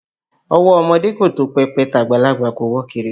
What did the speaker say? Ọwọ́ ọmọdé kò tó pẹpẹ, tàgbàlagbà kò wọ kèrèǹgbè